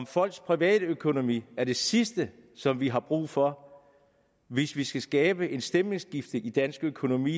folks privatøkonomi er det sidste som vi har brug for hvis vi skal skabe et stemningsskifte i dansk økonomi